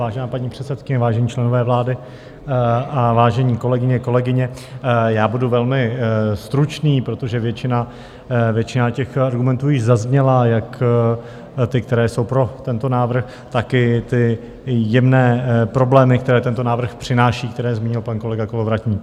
Vážená paní předsedkyně, vážení členové vlády a vážení kolegyně, kolegové, já budu velmi stručný, protože většina těch argumentů již zazněla, jak ty, které jsou pro tento návrh, tak i ty jemné problémy, které tento návrh přináší, které zmínil pan kolega Kolovratník.